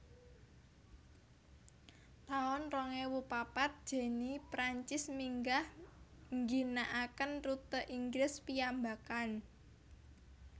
taun rong ewu papat Jenny Prancis minggah ngginakaken rute Inggris piyambakan